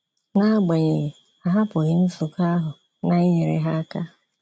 N’agbanyeghị, a hapụghị nzukọahụ, na-inyere ha aka.